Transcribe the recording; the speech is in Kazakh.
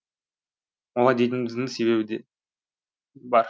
олай дейтініміздің себебі де бар